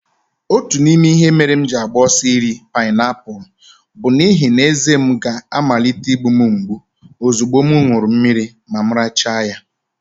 Otu n'ime ihe mere m ji agba ọsọ n'iri painiapulu bụ n'ihi na ezé m ga-amalite imgbu m mgbu ozugbo m ṅụrụ mmiri ma m richaa ya.